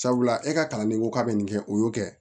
Sabula e ka kalanden ko k'a bɛ nin kɛ o y'o kɛ